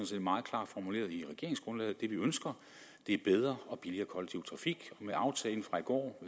set meget klart formuleret i regeringsgrundlaget at vi ønsker er bedre og billigere kollektiv trafik med aftalen fra i går